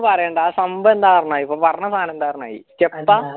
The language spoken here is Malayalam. ഒന്നും പറയണ്ട സംഭവെന്താ പറഞ്ഞതി ഇപ്പൊ പറഞ്ഞ സാന എന്തയാർന്നയീ